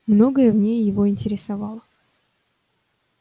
многое в ней его интересовало